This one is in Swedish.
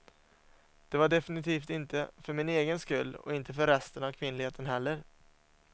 Det var definitivt inte för min egen skull och inte för resten av kvinnligheten heller.